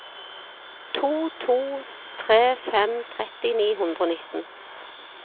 to to tre fem tretti ni hundre og nitten